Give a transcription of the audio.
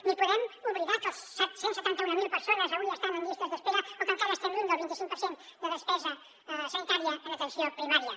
ni podem oblidar les set cents i setanta mil persones avui estan en llistes d’espera o que encara estem lluny del vint i cinc per cent de despesa sanitària en atenció primària